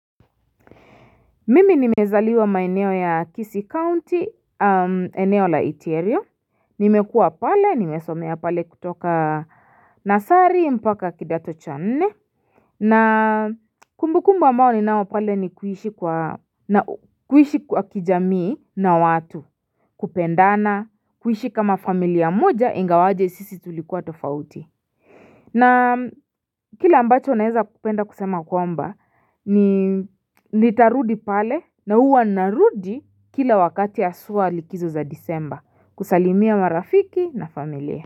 Mimi nimezaliwa maineo ya kisi county eneo la eterio nimekua pale nimesomea pale kutoka nasari mpaka kidato channe na kumbu kumbu ambao ni nao pale ni kuhishi kwa kijamii na watu kupendana kuhishi kama familia moja ingawaje sisi tulikuwa tofauti na kila ambacho naeza kupenda kusema kwamba ni nitarudi pale na uwa narudi kila wakati asuwa likizo za disemba kusalimia marafiki na familia.